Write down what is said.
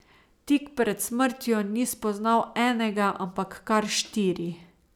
Tik pred smrtjo ni spoznal enega, ampak kar štiri.